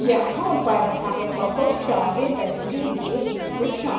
यहां पर हमें बहुत सारे लटके हुए कुछ कुशां--